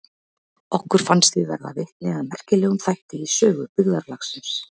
Okkur fannst við verða vitni að merkilegum þætti í sögu byggðarlagsins.